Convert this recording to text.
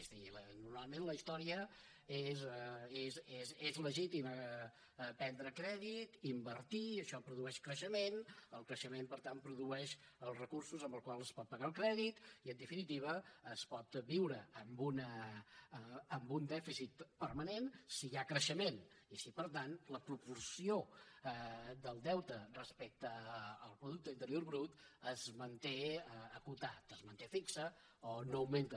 és a dir normalment en la història és legítim prendre crèdit invertir això produeix creixement el creixement per tant produeix els recursos amb els quals es pot pagar el crèdit i en definitiva es pot viure amb un dèficit permanent si hi ha creixement i si per tant la proporció del deute respecte al producte interior brut es manté acotat es manté fix o no augmenta